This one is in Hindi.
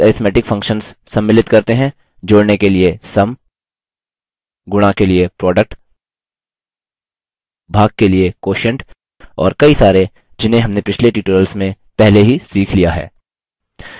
basic arithmetic functions सम्मिलित करते हैं